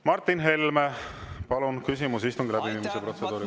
Martin Helme, palun, küsimus istungi läbiviimise protseduuri kohta!